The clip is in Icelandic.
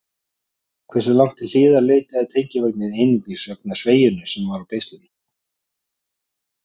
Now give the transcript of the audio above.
Hversu langt til hliðar leitaði tengivagninn einungis vegna sveigjunnar sem var á beislinu?